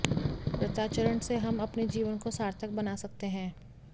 व्रताचरण से हम अपने जीवन को सार्थक बना सकते हैं